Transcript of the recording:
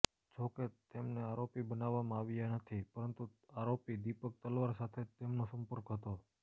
જોકે તેમને આરોપી બનાવવામાં આવ્યા નથી પરંતુ આરોપી દીપક તલવાર સાથે તેમનો સંપર્ક હતો